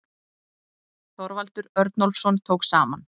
Þorvaldur Örnólfsson tók saman.